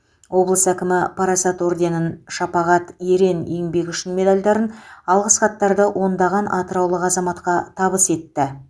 облыс әкімі парасат орденін шапағат ерен еңбегі үшін медальдарын алғыс хаттарды ондаған атыраулық азаматқа табыс етті